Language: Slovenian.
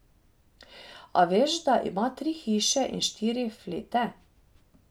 A veš, da ima tri hiše in štiri flete?